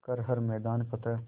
कर हर मैदान फ़तेह